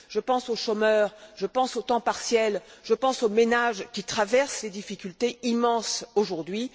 Je pense aux chômeurs, je pense au temps partiel, je pense aux ménages qui traversent des difficultés immenses aujourd'hui.